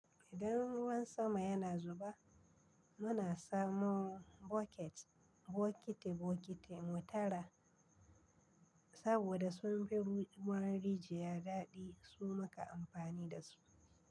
Idan ruwan sama yana zuba, muna samun boket, bokiti bokiti mu tara. Saboda sun bi ruwan rijiya daɗi, su maka amfani da su.